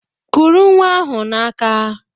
Kuru nnwa ahụ n'aka!